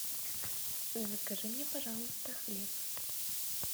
закажи мне пожалуйста хлеб